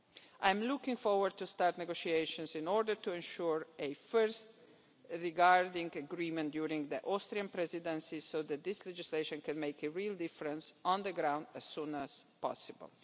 I am looking forward to starting negotiations in order to ensure a first regarding agreement during the Austrian Presidency so that this legislation can make a real difference on the ground as soon as possible.